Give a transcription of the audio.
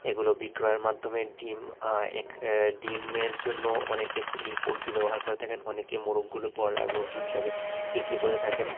এগুলো বিক্রয়ের মাধ্যমে ডিম আঃ এক এ ডিমের জন্য অনেকে ই পোল্ট্রি ব্যবহার করে থাকেন অনেকে মোরগগুলো বয়লার মুরগি হিসেবে বিক্রি করে থাকেন।